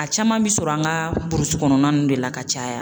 A caman bɛ sɔrɔ an ka burusi kɔnɔna ninnu de la ka caya